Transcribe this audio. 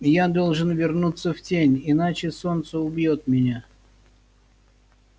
я должен вернуться в тень иначе солнце убьёт меня